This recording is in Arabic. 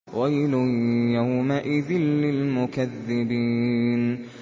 وَيْلٌ يَوْمَئِذٍ لِّلْمُكَذِّبِينَ